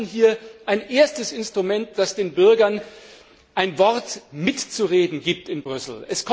Wir schaffen hier ein erstes Instrument, das den Bürgern ein Wort mitzureden gibt in Brüssel.